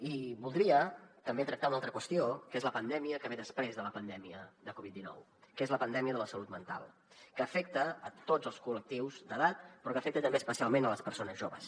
i voldria també tractar una altra qüestió que és la pandèmia que ve després de la pandèmia de covid dinou que és la pandèmia de la salut mental que afecta tots els collectius d’edat però que afecta també especialment les persones joves